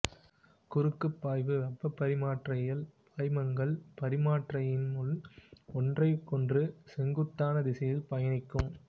குறுக்குபாய்வு வெப்பப் பரிமாற்றியில் பாய்மங்கள் பரிமாற்றியினுள் ஒன்றிற்கொன்று செங்குத்தான திசையில் பயணிக்கும்